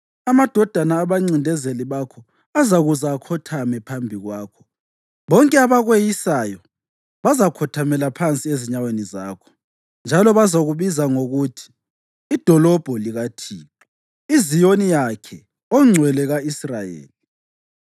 Amadodana abancindezeli bakho azakuza akhothame phambi kwakho; bonke abakweyisayo bazakhothamela phansi ezinyaweni zakho, njalo bazakubiza ngokuthi iDolobho likaThixo, iZiyoni yakhe oNgcwele ka-Israyeli.